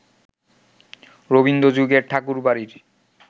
রবীন্দ্র-যুগের ঠাকুরবাড়ির